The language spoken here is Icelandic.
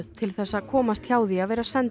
til þess að komast hjá því að vera sendur